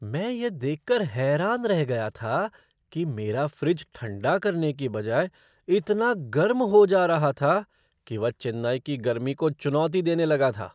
मैं यह देख कर हैरान रह गया था कि मेरा फ़्रिज ठंडा करने की बजाय इतना गर्म हो जा रहा था कि वह चेन्नई की गर्मी को चुनौती देने लगा था।